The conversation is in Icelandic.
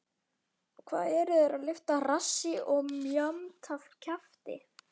Hvað eru þeir að lyfta rassi og mjamta kjafti?!